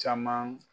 Caman